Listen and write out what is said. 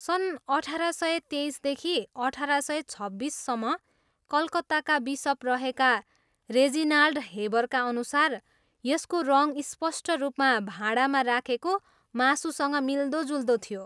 सन् अठार सय तेइसदेखि अठार सय छब्बिससम्म कलकत्ताका बिसप रहेका रेजिनाल्ड हेबरका अनुसार यसको रङ स्पष्ट रूपमा भाँडामा राखेको मासुसँग मिल्दोजुल्दो थियो।